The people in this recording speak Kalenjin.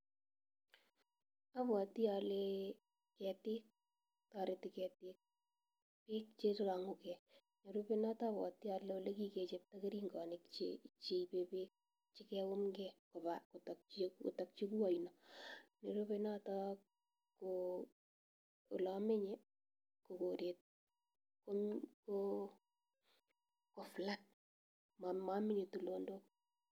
Obwoti olee toreti ketik biik chelonguke, nerube abwoti anee elekikichobto keringonik cheibe beek chekayumnge kotokyike oino, nerube noton ko olemenye en koret ko flat momoche tulonok.